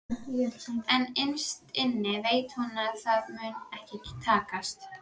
En innst inni veit hún að það mun ekki takast.